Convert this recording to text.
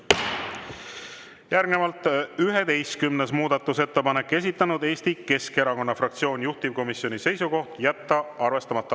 Järgnevalt 11. muudatusettepanek, esitanud Eesti Keskerakonna fraktsioon, juhtivkomisjoni seisukoht: jätta arvestamata.